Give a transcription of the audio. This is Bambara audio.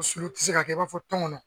Sulu ti se ka kɛ i b'a fɔ tɔngɔnɔ.